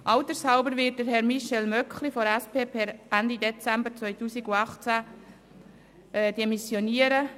Altershalber wird Herr Michel Möckli von der SP per Ende Dezember 2018 demissionieren.